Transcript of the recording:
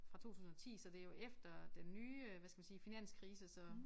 Fra 2010 så det jo efter den nye øh hvad skal man sige finanskrise så